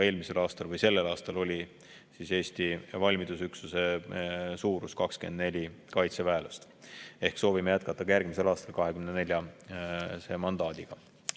Ka sellel aastal oli Eesti valmidusüksuse suurus 24 kaitseväelast ja soovime jätkata ka järgmisel aastal 24‑se mandaadiga.